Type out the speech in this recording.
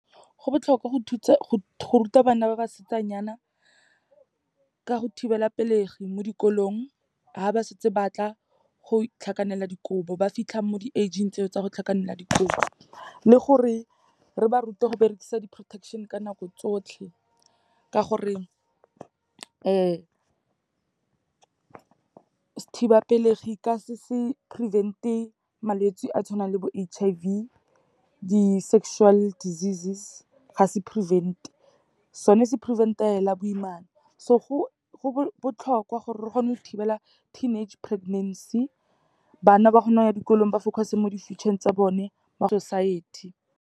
Go botlhokwa go ruta bana ba basetsanyana ka go thibelapelegi mo dikolong, ha ba setse batla go tlhakanela dikobo, ba fitlha mo di age-ing tseo tsa go tlhakanela dikobo, le gore re ba rute go berekisa di-protection ka nako tsotlhe. Ka gore, sethibapelegi ka se se prevent-e malwetse a tshwanang le bo H_I_V, di-sexual diseases, ga se prevent-e, sone se prevent-ela fela boimana. So go botlhokwa gore re kgone go thibela teenage pregnancy, bana ba kgone go ya dikolong, ba focus-e mo di-future-eng tsa bone, mo society.